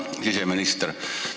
Hea siseminister!